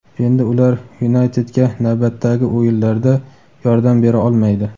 Endi ular "Yunayted"ga navbatdagi o‘yinlarda yordam bera olmaydi.